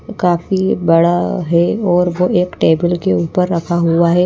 काफी बड़ा है और वो एक टेबल के ऊपर रखा हुआ है।